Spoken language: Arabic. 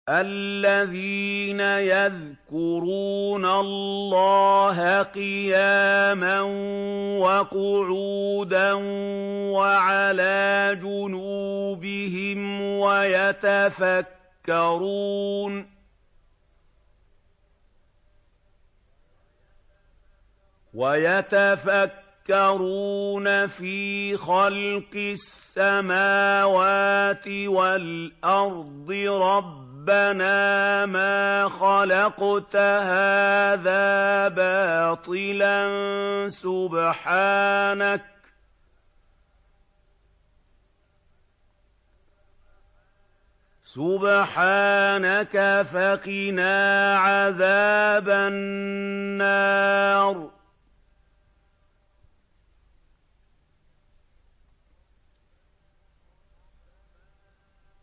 الَّذِينَ يَذْكُرُونَ اللَّهَ قِيَامًا وَقُعُودًا وَعَلَىٰ جُنُوبِهِمْ وَيَتَفَكَّرُونَ فِي خَلْقِ السَّمَاوَاتِ وَالْأَرْضِ رَبَّنَا مَا خَلَقْتَ هَٰذَا بَاطِلًا سُبْحَانَكَ فَقِنَا عَذَابَ النَّارِ